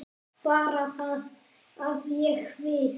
Bara það að ég. við.